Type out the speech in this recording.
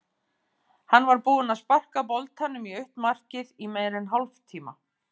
Hann var búinn að sparka boltanum í autt markið í meira en hálftíma.